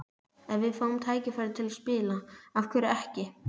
Ef við fáum tækifærið til að spila, af hverju ekki?